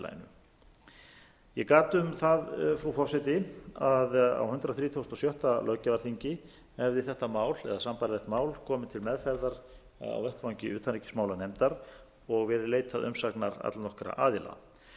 samfélaginu ég gat um það frú forseti að á hundrað þrítugasta og sjötta löggjafarþingi hefði þetta mál eða sambærilegt mál komið til meðferðar á vettvangi utanríkismálanefndar og verið leitað umsagna allnokkurra aðila